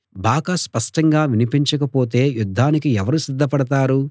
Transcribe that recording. బాకా స్పష్టంగా వినిపించకపోతే యుద్ధానికి ఎవరు సిద్ధపడతారు